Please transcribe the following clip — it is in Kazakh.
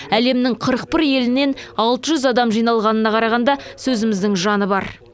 әлемнің қырық бір елінен алты жүз адам жиналғанына қарағанда сөзіміздің жаны бар